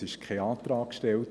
Es wurde kein Antrag gestellt.